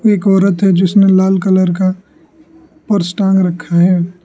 एक औरत है जिसने लाल कलर का पर्स टांग रखा है।